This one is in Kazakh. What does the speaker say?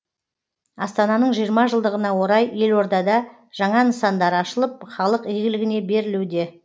астананың жиырма жылдығына орай елордада жаңа нысандар ашылып халық игілігіне берілуде